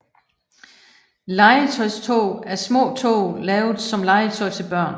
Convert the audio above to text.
Legetøjstog er små tog lavet som legetøj til børn